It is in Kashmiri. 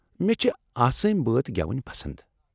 مےٚ چھِ آسٲمۍ بٲتھ گٮ۪وٕنۍ پسند ۔